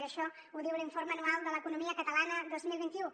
i això ho diu l’informe anual de l’economia catalana dos mil vint u